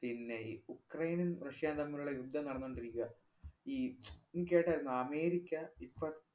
പിന്നെയീ ഉക്രയിനും, റഷ്യേം തമ്മിലുള്ള യുദ്ധം നടന്നോണ്ടിരിക്കുവാ. ഈ നീ കേട്ടായിരുന്നോ? അമേരിക്ക ഇപ്പ